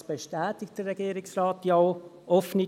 Das bestätigt der Regierungsrat ja auch.